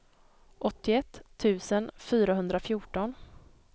åttioett tusen fyrahundrafjorton